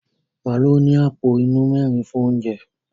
Màálù ní àpò inú mẹ́rin fún oúnjẹ.